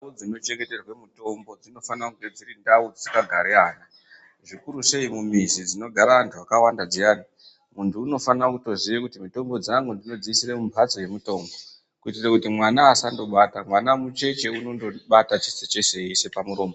Nzvimbo dzino chengeterwe mutombo dzino fana kunge dziri ndau dzisinga gari ana zvikuru sei mu mizi dzinogara antu akawanda dziyani muntu unofanira kutoziye kuti mitombo dzangu ndinodzi isire mu mbatso ye mutombo kuitire kuti mwana asando bata mwana mucheche unondo bata chese chese eyi ise pa muromo.